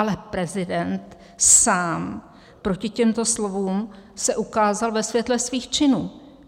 Ale prezident sám proti těmto slovům se ukázal ve světle svých činů.